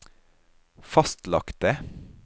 fastlagte